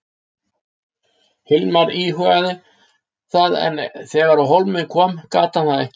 Hilmar íhugaði það en þegar á hólminn kom gat hann það ekki.